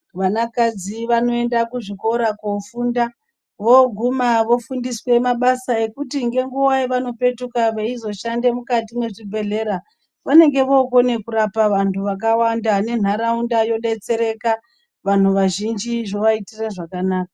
Vana kadzi vanoenda kuzvikora kofunda voguma vofundiswa mabasa nguwa yanopetuka eizoshanda mukati mezvibhedhlera vanenge vokona kurapa vantu vakawanda nenharaunda vodetsereka vanhu vazhinji zvovaitira zvakanaka.